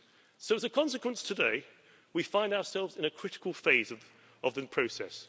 So as a consequence, today we find ourselves in a critical phase of the process.